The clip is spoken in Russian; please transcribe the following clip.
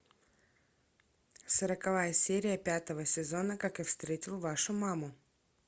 сороковая серия пятого сезона как я встретил вашу маму